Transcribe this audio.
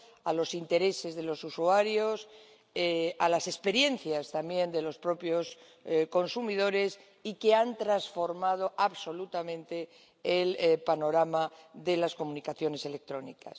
a los intereses de los usuarios, a las experiencias también de los propios consumidores y que han transformado absolutamente el panorama de las comunicaciones electrónicas.